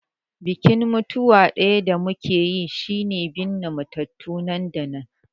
Bikin mutuwa ɗaya da muke riƙe da shi shine binne matattu nan da nan.